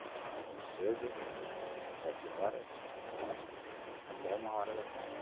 Entrava logo cedo, tipo sete horas, oito horas, até uma hora da tarde.